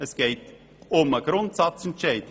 Es geht um den Grundsatzentscheid.